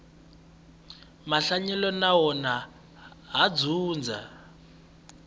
mahanyelo na wona ha dyondza